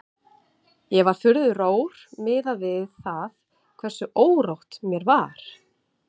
Ég var furðu rór miðað við það hversu órótt mér var.